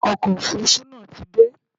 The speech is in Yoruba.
Ọkọ̀ Òfurufú náà ti dé.